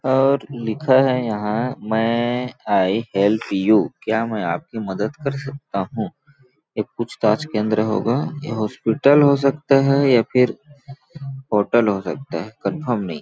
और लिखा है यहाँ मे आई हैल्प यू क्या मै आपकी मदद कर सकता हूँ ये पूछ-ताछ केंद्र होगा ये हॉस्पिटल हो सकता है या फिर होटल हो सकता है कन्फर्म नहीं है